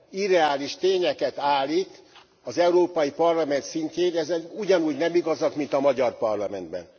irreális tényeket állít az Európai Parlament szintjén, ezek ugyanúgy nem igazak, mint a magyar parlamentben.